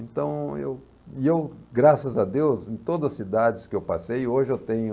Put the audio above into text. Então, eu e eu graças a Deus, em todas as cidades que eu passei, hoje eu tenho...